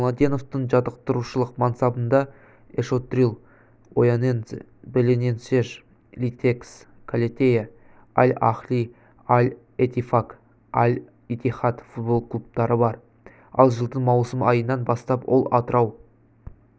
младеновтың жаттықтырушылық мансабында эшотрил оянензе белененсеш литекс калетея аль-ахли аль-етифак аль-итихад футбол клубтары бар ал жылдың маусым айынан бастап ол атырау